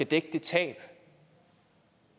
dække det tab